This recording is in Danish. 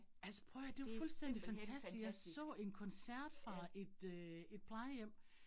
Altså prøv at høre det jo fuldstændig fantastisk, jeg så en koncert fra et øh et plejehjem